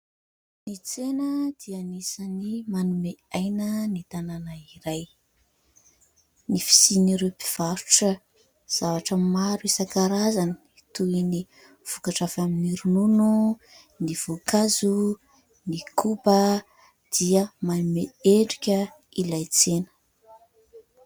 Ny tsena dia anisany manome aina ny tanàna iray, ny fisian'ireo mpivarotra zavatra maro isan-karazany toy ny vokatra avy amin'ny ronono, ny voankazo, ny koba dia manome endrika ilay tsena.